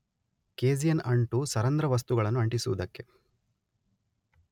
casein ಅಂಟು ಸರಂಧ್ರವಸ್ತುಗಳನ್ನು ಅಂಟಿಸುವುದಕ್ಕೆ